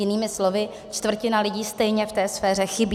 Jinými slovy, čtvrtina lidí stejně v té sféře chybí.